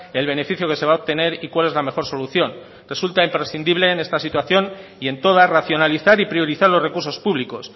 el beneficio que se va a obtener y cuál es la mejor solución resulta imprescindible en esta situación y en toda racionalizar y priorizar los recursos públicos